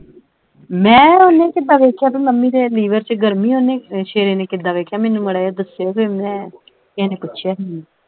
ਮੈਂ ਉਹਨੇ ਕਿੱਦਾਂ ਵੇਖਿਆ ਬਈ ਮੰਮੀ ਦੇ liver ਵਿੱਚ ਗਰਮੀ ਆ ਉਹਨੇ ਅਹ ਸ਼ੇਰੇ ਨੇ ਕਿੱਦਾ ਵੇਖਿਆ ਮੈਨੂੰ ਮਾੜਾ ਜਿਹਾ ਦੱਸਿਓ ਫਿਰ ਮੈਂ ਕਿਹੇ ਨੇ ਪੁੱਛਿਆ ਹੀ ਮੈਨੂੰ ।